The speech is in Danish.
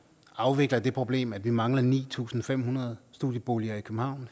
afvikler det problem at vi mangler ni tusind fem hundrede studieboliger i københavn